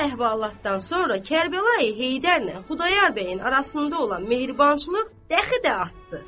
Bu əhvalatdan sonra Kərbəlayı Heydərlə Xudayar bəyin arasında olan mehribançılıq dəxi də artdı.